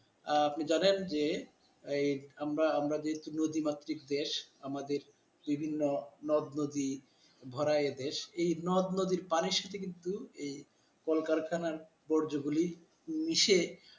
আহ আপনি জানেন যে এই আমরা আমরা যেহেতু নদীমাত্রিক দেশ আমাদের বিভিন্ন নদ-নদী ভরা এদেশ এই নদ নদীর পানির সাথে কিন্তু এ কলকারখানার বর্জগুলি মিসে,